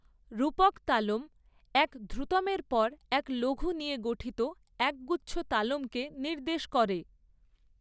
রূপক তালম এক ধ্রুতমের পর এক লঘু নিয়ে গঠিত একগুচ্ছ তালমকে নির্দেশ করে।